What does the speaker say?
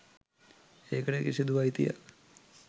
ඒකට කිසිදු අයිතියක්